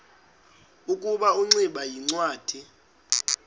ukuba ingximba yincwadi